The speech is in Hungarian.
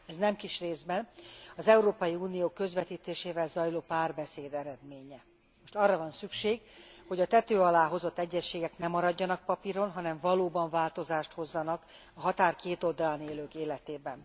Ez nem kis részben az Európai Unió közvetítésével zajló párbeszéd eredménye. Most arra van szükség, hogy a tető alá hozott egyezségek ne maradjanak papíron, hanem valóban változást hozzanak a határ két oldalán élők életében.